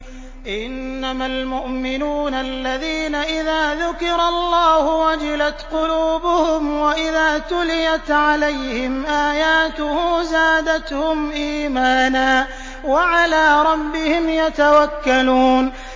إِنَّمَا الْمُؤْمِنُونَ الَّذِينَ إِذَا ذُكِرَ اللَّهُ وَجِلَتْ قُلُوبُهُمْ وَإِذَا تُلِيَتْ عَلَيْهِمْ آيَاتُهُ زَادَتْهُمْ إِيمَانًا وَعَلَىٰ رَبِّهِمْ يَتَوَكَّلُونَ